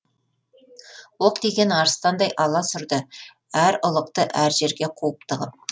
оқ тиген арыстандай аласұрды әр ұлықты әр жерге қуып тығып